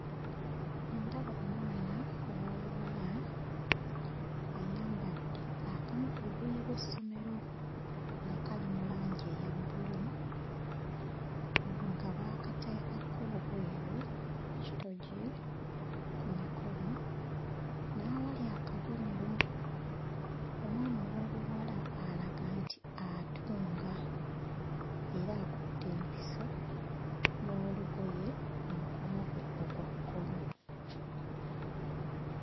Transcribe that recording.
Ndaba omwana ow'obuwala ayambadde akamu ku bugoye bw'essomero akali mu langi eya bbulu nga baakateekako obweru ku kitogi, ku mukono n'awali akabonero. Omwana ow'obuwala alaga nti atunga era akutte empiso n'olugoye mu mukono gwe ogwa kkono.